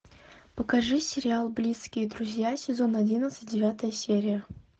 покажи сериал близкие друзья сезон одиннадцать девятая серия